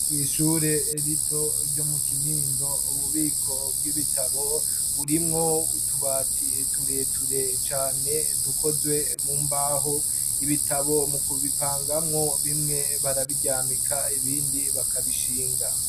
Kwishure rito ryo mu kinindo ububiko bw'ibitabo burimwo utubati ture ture cane dukozwe mu mbaho ibitabo mu kubipangamwo bimwe barabiryamika ibindi bakabishinga.